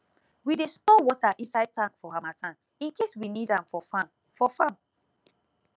we dey store water inside tank for harmattan in case we need am for farm for farm